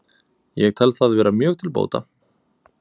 Ég tel það vera mjög til bóta